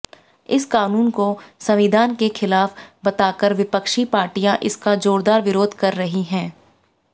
इस कानून को संविधान के खिलाफ बताकर विपक्षी पार्टियां इसका जोरदार विरोध कर रही हैं